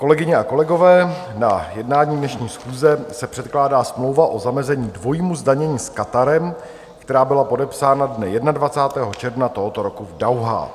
Kolegyně a kolegové, na jednání dnešní schůze se předkládá smlouva o zamezení dvojímu zdanění s Katarem, která byla podepsána dne 21. června tohoto roku v Dauhá.